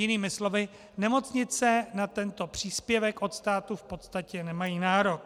Jinými slovy, nemocnice na tento příspěvek od státu v podstatě nemají nárok.